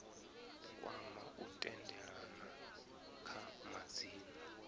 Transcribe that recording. kwama u tendelana kha madzina